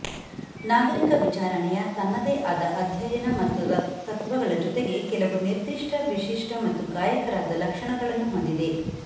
ನಾಗರಿಕ ವಿಚಾರಣೆಯ ತನ್ನದೇ ಆದ ಅಧ್ಯಯನ ಮತ್ತು ತತ್ವಗಳ ಜೊತೆಗೆ ಕೆಲವು ನಿರ್ದಿಷ್ಟ ವಿಶಿಷ್ಟ ಮತ್ತು ಗಾಯಕರಾದ ಲಕ್ಷಣಗಳನ್ನು ಹೊಂದಿದೆ